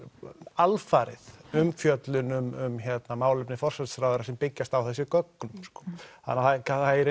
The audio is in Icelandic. alfarið umfjöllun um málefni forsætisráðherra sem byggjast á þessum gögnum þannig að það er